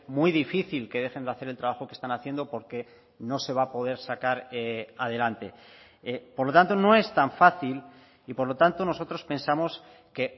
muy difícil que dejen de hacer el trabajo que están haciendo porque no se va a poder sacar adelante por lo tanto no es tan fácil y por lo tanto nosotros pensamos que